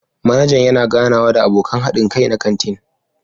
Manajan yana ganawa da abokan haɗin kai na kantin.